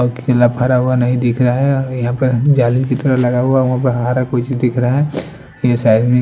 अ केला फरा हुआ नहीं दिख रहा है यहां पर जाली की तरह लगा हुआ है वहां पे हरा कुछ दिख रहा है ये साइड --